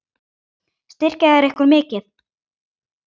Styrkja þeir ykkur mikið?